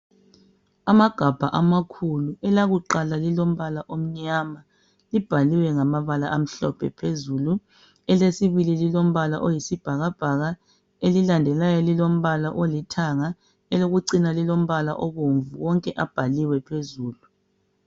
Amagabha amakhulu elakuqala lilombala omnyama libhaliwe ngamabala amhlophe phezulu elesibili lilombala oyisibhakabhaka elilandelayo lilombala olithanga elokucina lilombala obomvu wonke abhaliwe phezulu.